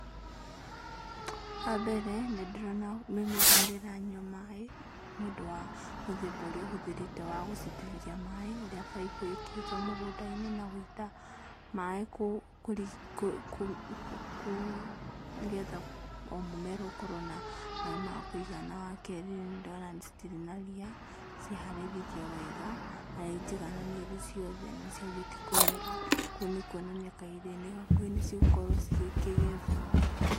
Wa mbere, nĩ ndĩrona mĩmera nĩ ĩranyua maaĩ, nĩ ũndũ wa mũthemba ũrĩa ũhũthĩrĩte wa gũitĩrĩria maĩ, ũrĩ baibũ ĩkĩrĩtwo mũgũnda-inĩ, na gũita maĩ kũrĩ, nĩgetha o mũmera ũkorwo na maĩ ma kũigana. Wa kerĩ nĩ ndona citirĩ na ria, ciharĩrĩirio wega, na nĩ njigananĩru wega ciothe, nĩ ciambĩtie kũmera, kũu nĩ kuonania kahinda-inĩ gakuhĩ nĩ cigũkorwo cigĩkĩgethwo.